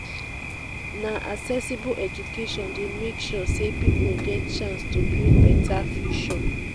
na accessible eduation dey make sure sey pipo get chance to build beta future.